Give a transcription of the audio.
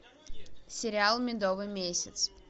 сериал медовый месяц